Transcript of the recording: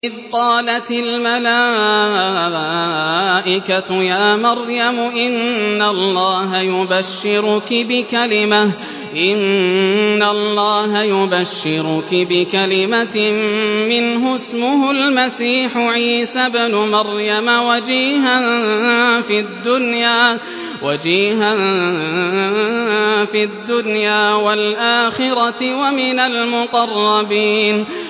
إِذْ قَالَتِ الْمَلَائِكَةُ يَا مَرْيَمُ إِنَّ اللَّهَ يُبَشِّرُكِ بِكَلِمَةٍ مِّنْهُ اسْمُهُ الْمَسِيحُ عِيسَى ابْنُ مَرْيَمَ وَجِيهًا فِي الدُّنْيَا وَالْآخِرَةِ وَمِنَ الْمُقَرَّبِينَ